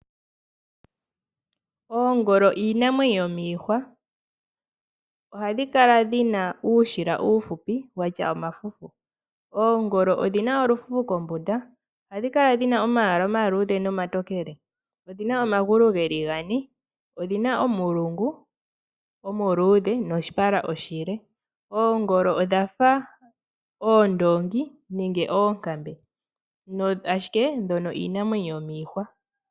Oongolo iinamwenyo yomiihwa, ohadhi kala dhi na uushila uufupi wa tya omafufu. Oongolo odhi na olufufu kombunda. Ohadhi kala dhi na omayala omaluudhe nomatokele. Odhi na omagulu ge li gane. Odhi na omulungu omuluudhe noshipala oshile. Oongolo odha fa oondoongi nenge oonkambe, ashike dho iinamwenyo yomiihwa.